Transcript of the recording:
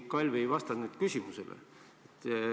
Sa, Kalvi, ei vastanud muidugi küsimusele.